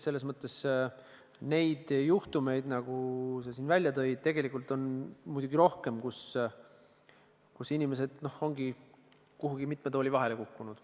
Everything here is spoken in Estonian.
Selles mõttes on sääraseid juhtumeid, nagu sa siin välja tõid, muidugi rohkem, inimesed lihtsalt on n-ö kuhugi mitme tooli vahele kukkunud.